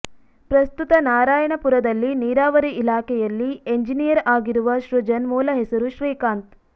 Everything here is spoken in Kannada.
ಪ್ರಸ್ತುತ ನಾರಾಯಣಪುರದಲ್ಲಿ ನೀರಾವರಿ ಇಲಾಖೆಯಲ್ಲಿ ಎಂಜಿನಿಯರ್ ಆಗಿರುವ ಸೃಜನ್ ಮೂಲ ಹೆಸರು ಶ್ರೀಕಾಂತ್